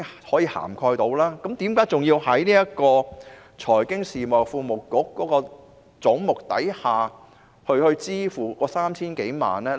為何還要在財經事務及庫務局的總目項下支付那 3,000 多萬元呢？